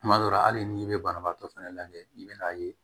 Tuma dɔ la hali n'i bɛ banabaatɔ fɛnɛ lajɛ i bɛn'a ye